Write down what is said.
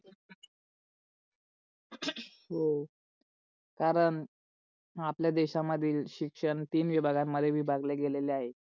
कारण आपल्या देशा मध्ये शिक्षण तीन विभाग मध्ये विभागले गेले आहे.